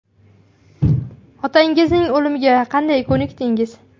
Otangizning o‘limiga qanday ko‘nikdingiz?